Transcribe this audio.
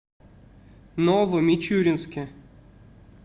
новомичуринске